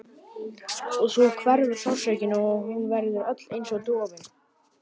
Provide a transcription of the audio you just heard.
Og svo hverfur sársaukinn og hún verður öll einsog dofin.